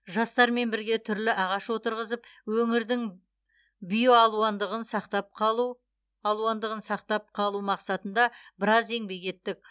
жастармен бірге түрлі ағаш отырғызып өңірдің био алуандығын сақтап қалу алуандығын сақтап қалу мақсатында біраз еңбек еттік